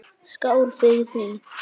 Skál fyrir því!